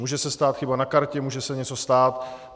Může se stát chyba na kartě, může se něco stát.